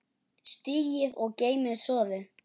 Sigtið og geymið soðið.